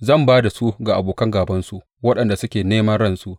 zan ba da su ga abokan gābansu waɗanda suke neman ransu.